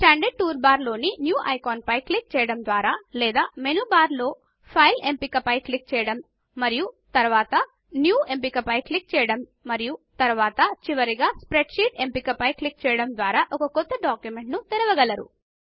standard toolbar లో new ఐకాన్పై click చేయడం ద్వారా లేదా మెనూ బార్ లో ఫైల్ ఎంపికపై క్లిక్ చేయడం మరియు తర్వాత న్యూ ఎంపికపై క్లిక్ చేయడం మరియు తర్వాత చివరిగా స్ప్రెడ్షీట్ ఎంపికపై క్లిక్ చేయడం ద్వారా ఒక కొత్త డాక్యుమెంట్ తెరవగలరు